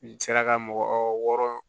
I sera ka mɔgɔ wɔɔrɔ